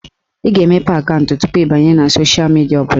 Ị ga-emepe akaụntụ tupu ị banye na sosha midia ọbụla